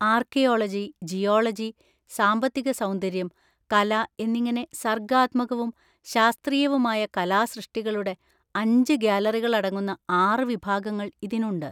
Archaeology, geology, സാമ്പത്തിക സൗന്ദര്യം, കല എന്നിങ്ങനെ സർഗ്ഗാത്മകവും ശാസ്ത്രീയവുമായ കലാസൃഷ്ടികളുടെ അഞ്ച് ഗാലറികൾ അടങ്ങുന്ന ആറ് വിഭാഗങ്ങൾ ഇതിനുണ്ട്.